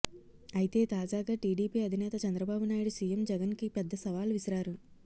అయితే తాజాగా టీడీపీ అధినేత చంద్రబాబు నాయుడు సీఎం జగన్కి పెద్ద సవాల్ విసిరారు